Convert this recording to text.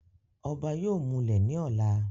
ọba yóò múlẹ̀ ní ọ̀la